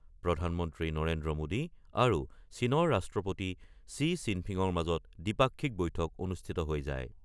প্ৰধানমন্ত্ৰী নৰেন্দ্ৰ মোদী আৰু চীনৰ ৰাষ্ট্ৰপতি শ্বি ঝিনপিঙৰ মাজত দ্বিপাক্ষিক বৈঠক অনুষ্ঠিত হৈ যায়।